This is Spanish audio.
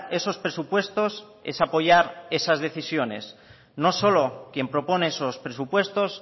esos presupuestos es apoyar esas decisiones no solo quien propone esos presupuestos